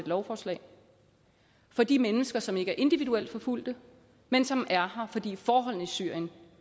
lovforslag for de mennesker som ikke er individuelt forfulgte men som er her fordi forholdene i syrien